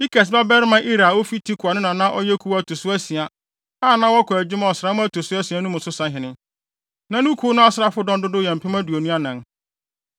Ikes babarima Ira a ofi Tekoa no na na ɔyɛ kuw a ɛto so asia, a na wɔkɔ adwuma ɔsram a ɛto so asia mu no sahene. Na ne kuw no asraafodɔm dodow yɛ mpem aduonu anan (24,000).